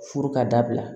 Furu ka dabila